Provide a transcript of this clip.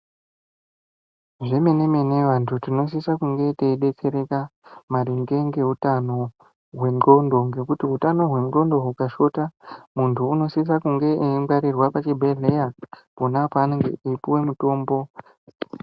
Zvemene mene antu tinosise kunge teidetsereka ngekuda kweutano hwendxondo ngekuti utano hwendxondo hukashota munhu anosise kunge eingwarirwe pachibhedhlera pona apapo eipuwe mitombo.